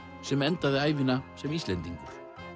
sem endaði ævina sem Íslendingur